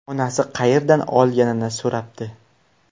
Onasi qayerdan olganini so‘rabdi.